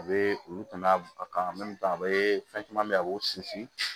A bɛ olu tɛmɛ a kan a bɛ fɛn caman bɛ yen a b'o sinsin